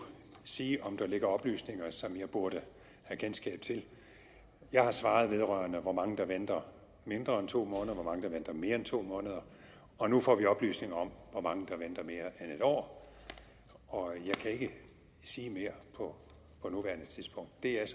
sige om der ligger oplysninger som jeg burde have kendskab til jeg har svaret vedrørende hvor mange der venter mindre end to måneder hvor mange der venter mere end to måneder og nu får vi oplysninger om hvor mange der venter mere end en år jeg kan ikke sige mere på nuværende tidspunkt det er